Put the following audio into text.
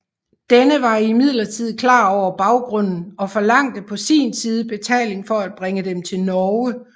Denne var imidlertid klar over baggrunden og forlangte på sin side betaling for at bringe dem til Norge